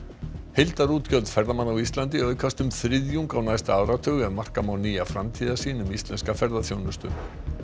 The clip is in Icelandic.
heildarútgjöld ferðamanna á Íslandi aukast um þriðjung á næsta áratug ef marka má nýja framtíðarsýn um íslenska ferðaþjónustu